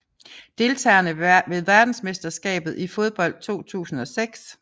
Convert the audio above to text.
Deltagere ved verdensmesterskabet i fodbold 2006